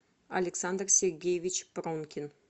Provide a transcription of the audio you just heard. александр сергеевич пронкин